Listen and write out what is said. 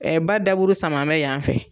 ba daburu sama mɛ yanfɛ